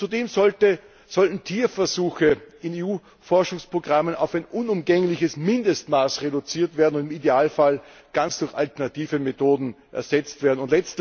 Und zudem sollten Tierversuche in EU Forschungsprogrammen auf ein unumgängliches Mindestmaß reduziert und im Idealfall ganz durch alternative Methoden ersetzt werden.